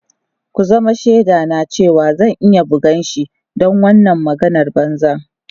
Ku zama shaidana cewa zan iya bugan shi don wannan maganar banza.